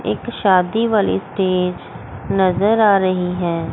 एक शादी वाली स्टेज नजर आ रही हैं।